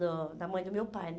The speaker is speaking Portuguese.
Do da mãe do meu pai.